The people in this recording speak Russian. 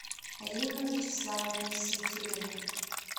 римма вячеславовна синтюрина